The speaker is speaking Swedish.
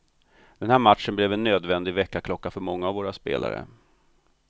Den här matchen blev en nödvändig väckarklocka för många av våra spelare.